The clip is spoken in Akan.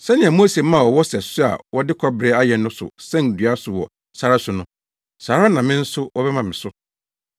Sɛnea Mose maa ɔwɔ sɛso a wɔde kɔbere ayɛ no so sɛn dua so wɔ sare so no, saa ara na me nso wɔbɛma me so,